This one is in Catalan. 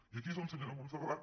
i aquí és on se·nyora montserrat